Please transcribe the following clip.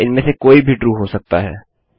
या इनमें से कोई भी ट्रू हो सकता है